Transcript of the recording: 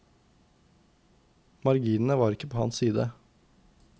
Marginene var ikke på hans side.